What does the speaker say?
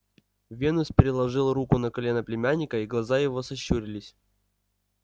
венус переложил руку на колено племянника и глаза его сощурились